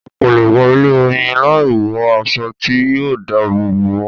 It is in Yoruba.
O kò lè wọ ilé Oyin láì wọ aṣọ tí yóò dá àbọ̀ bò ọ́.